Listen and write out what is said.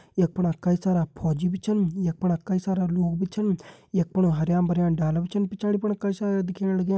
यख फणा कई सारा फौजी भी छन यख फणा कई सारा लोग भी छन यख फुण हरयां भरयां डाला भी छन पिछाड़ी फुण कई सारा दिखेण लग्यां।